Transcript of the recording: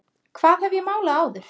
Hvað hef ég málað áður?